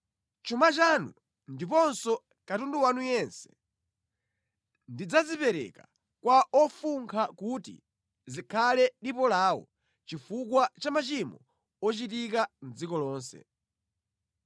Chuma chanu ndiponso katundu wanu yense ndidzazipereka kwa ofunkha kuti zikhale dipo lawo chifukwa cha machimo ochitika mʼdziko lonse.